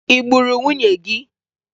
Ị gburu nwunye gị?